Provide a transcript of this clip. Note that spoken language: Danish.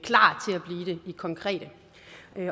i konkrete